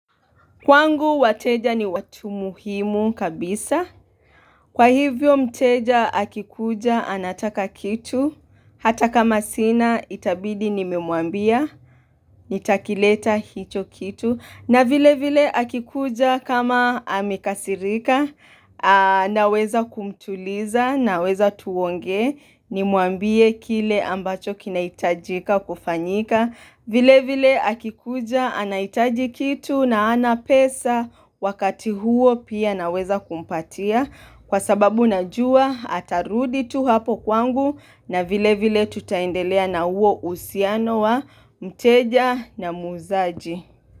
Kwangu, wateja ni watu muhimu kabisa. Kwa hivyo mteja, akikuja, anataka kitu. Hata kama sina, itabidi nimemwambia, nitakileta hicho kitu. Na vile vile, akikuja kama amekasirika, naweza kumtuliza, naweza tuongee, ni mwambie kile ambacho kinahitajika kufanyika. Vile vile akikuja anahitaji kitu na hana pesa wakati huo pia naweza kumpatia kwa sababu najua atarudi tu hapo kwangu na vile vile tutaendelea na huo uhusiano wa mteja na muuzaji.